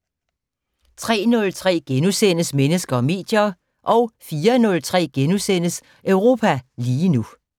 03:03: Mennesker og medier * 04:03: Europa lige nu *